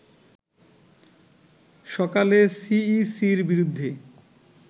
সকালে সিইসির বিরুদ্ধে